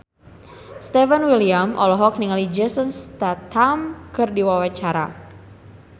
Stefan William olohok ningali Jason Statham keur diwawancara